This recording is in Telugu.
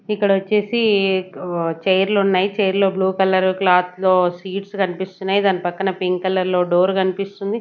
ఇక్కడ ఒచ్చేసి ఆ చైర్ లు ఉన్నాయి చైర్ లో బ్లూ కలర్ క్లాత్ తో సీడ్స్ కన్పిస్తున్నయి దాని పక్కన పింక్ కలర్ లో డోర్ కన్పిస్తుంది.